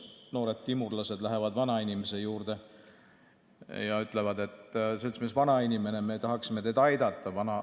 Noored timurlased lähevad vanainimese juurde ja ütlevad: "Seltsimees vanainimene, me tahaksime teid aidata.